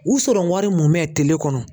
U sɔrɔwari mumɛ tile kɔnɔ